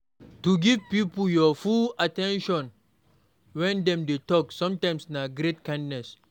To give pipo your full at ten tion when dem de talk sometimes na great kindness